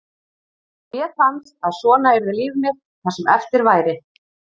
Mér fannst að svona yrði líf mitt það sem eftir væri.